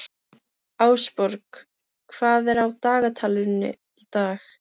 Ásborg, hvað er á dagatalinu í dag?